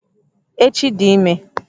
Echi dị ímé